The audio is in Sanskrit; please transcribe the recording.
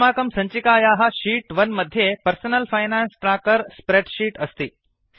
अस्माकं सञ्चिकायाः शीत् 1 मध्ये personal finance tracker spreadsheet अस्ति